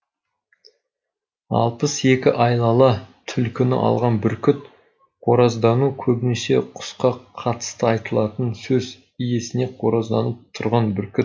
алпыс екі айлалы түлкіні алған бүркіт қораздану көбінесе құсқа қатысты айтылатын сөз иесіне қоразданып тұрған бүркіт